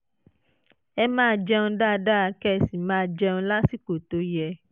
ẹ máa jẹun dáadáa kẹ́ ẹ sì máa jẹun lásìkò tó yẹ